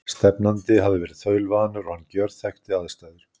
Stefnandi hafi verið þaulvanur og hann gjörþekkti aðstæður.